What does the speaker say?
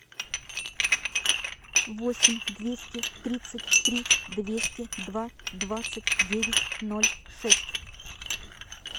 восемь двести тридцать три двести два двадцать девять ноль шесть